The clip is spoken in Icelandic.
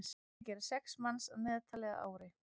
þetta gera sex manns að meðaltali á ári